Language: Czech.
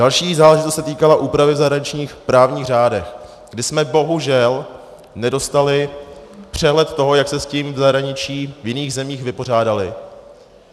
Další záležitost se týkala úpravy v zahraničních právních řádech, kdy jsme bohužel nedostali přehled toho, jak se s tím v zahraničí, v jiných zemích, vypořádali.